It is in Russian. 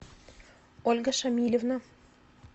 ольга шамильевна